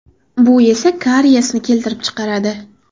Bu esa kariyesni keltirib chiqaradi.